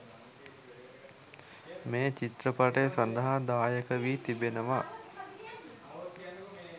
මේ චිත්‍රපටය සදහා දායක වි තිබෙනවා